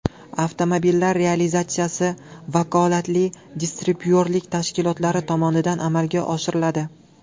Avtomobillar realizatsiyasi vakolatli distribyutorlik tashkilotlari tomonidan amalga oshiriladi”.